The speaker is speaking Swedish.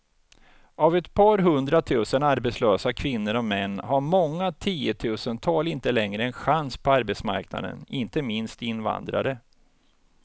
Av ett par hundratusen arbetslösa kvinnor och män har många tiotusental inte längre en chans på arbetsmarknaden, inte minst invandrare.